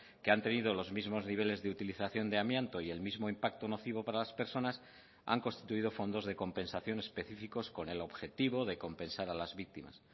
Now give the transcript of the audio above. que han tenido los mismos niveles de utilización de amianto y el mismo impacto nocivo para las personas han constituido fondos de compensación específicos con el objetivo de compensar a las víctimas